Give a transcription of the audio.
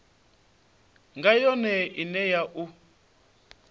nga yone ine na u